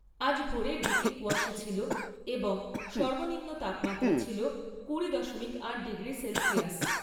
আজ ভোরের দিকে কুয়াশা ছিল এবং সর্বনিম্ন তাপমাত্রা ছিল দুশো আট ডিগ্রি সেলসিয়াস।